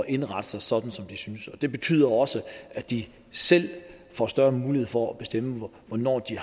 indrette sig sådan som de synes det betyder også at de selv får større mulighed for at bestemme hvornår de